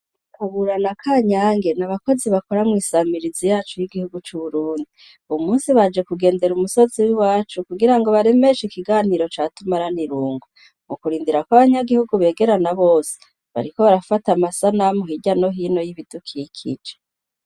Aburana ka nyange ni abakozi bakora mw'isamirizi yacu y'igihugu c'uburundi, ubu musi baje kugendera umusazi wi wacu kugira ngo baremeshe ikiganiro catuma ara nirungo mu kurindira kw'abanyagihugu begerana bose bariko barafata amasa namuhirya no hino y'ibidukikice.